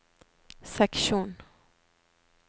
seksjon